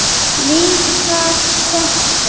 Líka þetta.